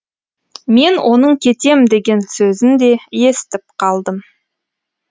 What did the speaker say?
мен оның кетем деген сөзін де естіп қалдым